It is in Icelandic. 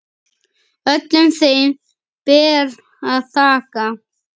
Öllum þeim ber að þakka.